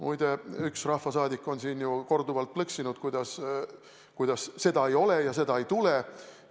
Muide, üks rahvasaadik on siin ju korduvalt plõksinud, kuidas siis nii, et seda ei ole ja seda ei tule.